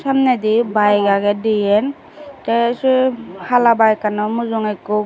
samne di bike age diyen te si hala bike anot mujunge ekku.